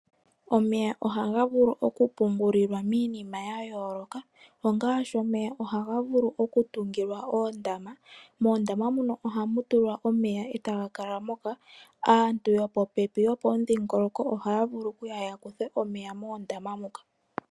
Omeya ohaga vulu okupungulwa miinima ya yooloka. Omeya ohaga vulu okutungilwa oondama. Moondama muka ohamu vulu okutulwa omeya e taga kala moka. Aantu yopopepi nenge yopomudhingoloko ohaya vulu okuya ya kuthe omeya moondaama muka.